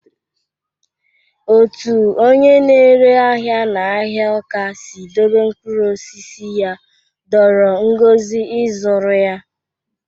Otu onye na-ere ahịa n'ahịa Awka si dobe mkpụrụ osisi ya dọọrọ Ngozi ịzụrụ ya.